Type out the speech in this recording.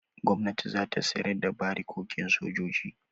Gwamnati za ta sayar da barikokin sojoji.